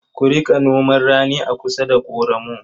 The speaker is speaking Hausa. Ku riƙa noman rani a kusa da ƙoramu.